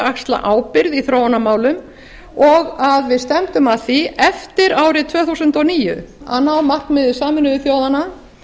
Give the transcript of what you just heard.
axla ábyrgð í þróunarmálum og að við stefndum að því eftir árið tvö þúsund og níu að ná markmiði sameinuðu þjóðanna